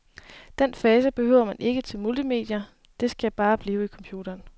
Den fase behøver man ikke til multimedier, det skal bare blive i computeren.